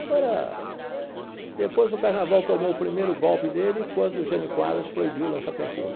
Agora, depois o Carnaval tomou o primeiro golpe dele, quando o Jânio Quadros proibiu o lança-perfume.